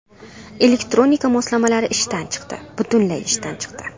Elektronika moslamalari ishdan chiqdi, butunlay ishdan chiqdi!